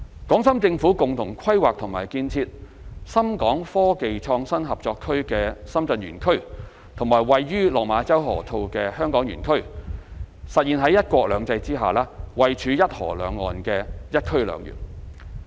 港深政府共同規劃和建設深港科技創新合作區的深圳園區和位於落馬洲河套的香港園區，實現"一國兩制"下，位處"一河兩岸"的"一區兩園"。